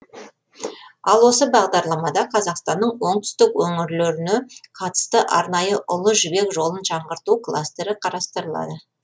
ал осы бағдарламада қазақстанның оңтүстік өңірлеріне қатысты арнайы ұлы жібек жолын жаңғырту кластері қарастырылады